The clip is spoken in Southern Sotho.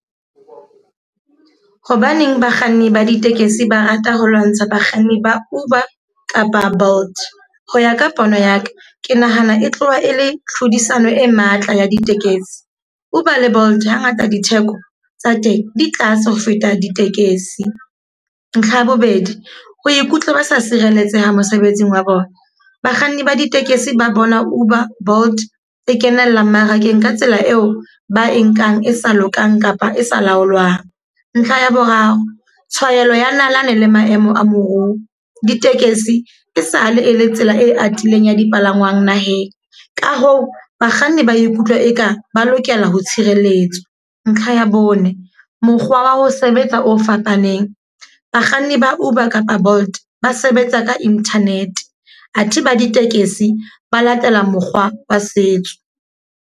Hobaneng bakganni ba ditekesi ba rata ho lwantsha bakganni ba Uber kapa Bolt. Ho ya ka pono ya ka, ke nahana e tloha e le tlhodisano e matla ya ditekesi. Uber le Bolt ha ngata ditheko tsa teng di tlase ho feta ditekesi. Ntlha ya bobedi, ho ikutlwa ba sa sireletseha mosebetsing wa bona. Bakganni ba ditekesi ba bona Uber, Bolt e kenella mmarakeng ka tsela eo ba e nkang e sa lokang kapa e sa laolwang. Ntlha ya boraro, tshwarelo ya nalane le maemo a moruo. Ditekesi e sa le e le tsela e atileng ya dipalangwang naheng. Ka hoo, bakganni ba ikutlwa e ka ba lokela ho tshireletswa. Ntlha ya bone, mokgwa wa ho sebetsa o fapaneng. Bakganni ba Uber kapa Bolt ba sebetsa ka internet. Athe ba ditekesi ba latela mokgwa wa setso.